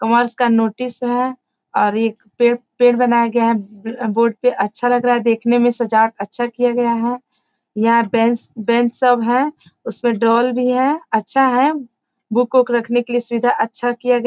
commerce का notice है और ये पेड़ पेड़ बनाया गया है बोर्ड पे अच्छा लग रहा है देखने में सजावट अच्छा किया गया है यहाँ बेंच बेंच सब है उस पे ड्रोल भी है अच्छा है बुक-उक रखने के लिए सुविधा अच्छा किया गया --